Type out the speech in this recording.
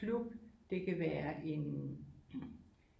Klub det kan være en